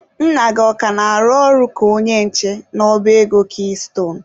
Nna gị ọ ka na-arụ ọrụ ka onye nche n'ọba ego kiistone?